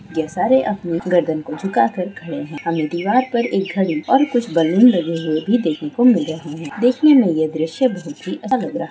यह सारे आदमी गर्दन को झुका कर खड़े है हमे दीवार पर घड़ी और कुछ बलून लगे हुए भी देखने को मिल रहे है देखने मे यह द्रश्य बहोत ही अच्छा लग रहा हैं।